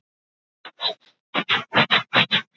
En þegar ég vaknaði í morgun var hún horfin.